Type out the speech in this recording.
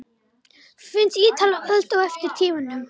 Finnst Ítalir öld á eftir tímanum.